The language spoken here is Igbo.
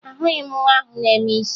Ahụghị m nwa ahụ na-eme isi ike